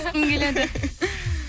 келеді